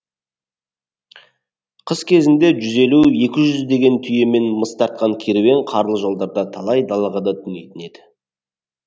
қыс ішінде жүз елу екі жүз деген түйемен мыс тартқан керуен қарлы жолдарда талай далаға да түнейтін еді